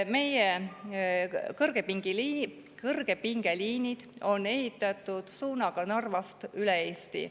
Meie kõrgepingeliinid on ehitatud Narvast üle Eesti.